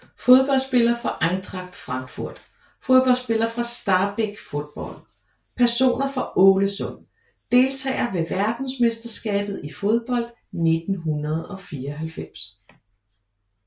Fodboldspillere fra Eintracht Frankfurt Fodboldspillere fra Stabæk Fotball Personer fra Ålesund Deltagere ved verdensmesterskabet i fodbold 1994